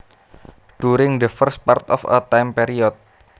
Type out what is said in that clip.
During the first part of a time period